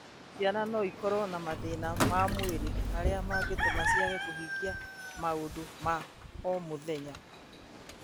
Ciana no ikorũo na mathĩna ma mwĩrĩ marĩa mangĩtũma ciage kũhingia maũndũ ma o mũthenya,